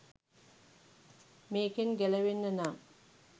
මේකෙන් ගැලවෙන්න නම්